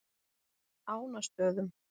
Ánastöðum